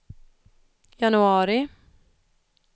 januari